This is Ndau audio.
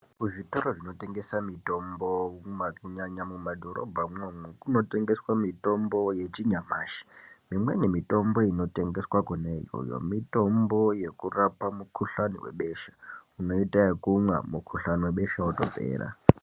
Ku zvitoro zvinotengesa mitombo kunyanya mu madhorobha mwo mwo tengeswa mitombo ye chinyamashi imweni mitombo inotengeswa kona iyoyo mitombo yekurapa mu kuhlani webesha unoita yekumwa mu kuhlani webesha wotopera .